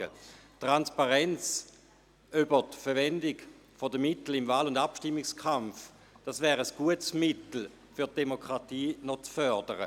Die Transparenz in Sachen Verwendung der Mittel im Wahl- und Abstimmungskampf wäre ein gutes Mittel, um die Demokratie zu fördern.